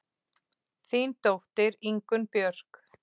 Þín dóttir, Ingunn Björk.